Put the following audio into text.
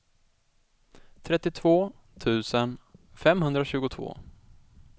trettiotvå tusen femhundratjugotvå